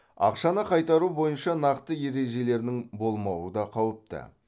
ақшаны қайтару бойынша нақты ережелерінің болмауы да қауіпті